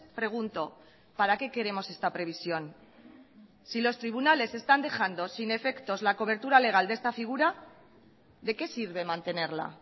pregunto para qué queremos esta previsión si los tribunales están dejando sin efectos la cobertura legal de esta figura de qué sirve mantenerla